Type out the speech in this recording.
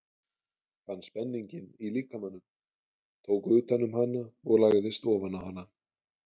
Fann spenninginn í líkamanum, tók utan um hana og lagðist ofan á hana.